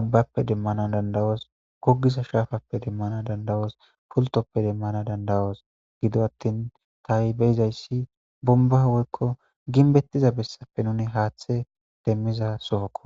abbappe demmana dandawos gogisa shaafappe demmana dandawoos pultoppe demmana dandawos gido attin taa7i beizayssi bomba woykko ginbettiza bessappe nuni haaththe demmiza sohokko